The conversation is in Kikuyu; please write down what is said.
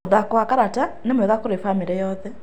Mũthako wa karata nĩ mwega kũrĩ bamĩrĩ yothe.